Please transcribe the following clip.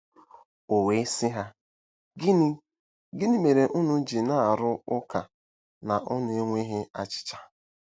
“O wee sị ha: ‘Gịnị: ‘Gịnị mere unu ji na-arụ ụka na unu enweghị achịcha?